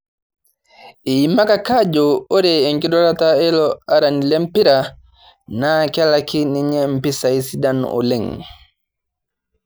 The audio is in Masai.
Eimakaki ajo ore enkidurata eilo arani lempira naa kelaki ninye mpisai sidan oleng'